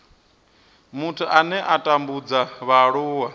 muthu ane a tambudza vhaaluwa